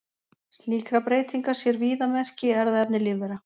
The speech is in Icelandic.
Slíkra breytinga sér víða merki í erfðaefni lífvera.